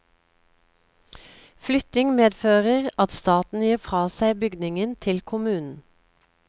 Flytting medfører at staten gir fra seg bygningen til kommunen.